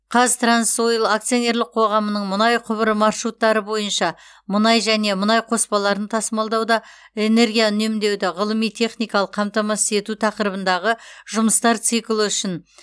қазтрансойл акционерлік қоғамының мұнай құбыры маршруттары бойынша мұнай және мұнай қоспаларын тасымалдауда энергия үнемдеуді ғылыми техникалық қамтамасыз ету тақырыбындағы жұмыстар циклі үшін